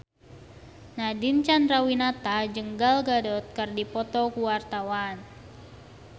Nadine Chandrawinata jeung Gal Gadot keur dipoto ku wartawan